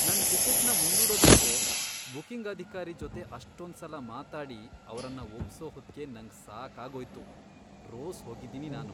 ನನ್ ಟಿಕೆಟ್ನ ಮುಂದೂಡೋದಕ್ಕೆ ಬುಕಿಂಗ್ ಅಧಿಕಾರಿ ಜೊತೆ ಅಷ್ಟೊಂದ್ಸಲ ಮಾತಾಡಿ ಅವ್ರನ್ನ ಒಪ್ಸೋ ಹೊತ್ಗೆ ನಂಗ್ ಸಾಕಾಗೋಯ್ತು.. ರೋಸ್ ಹೋಗಿದೀನಿ ನಾನು.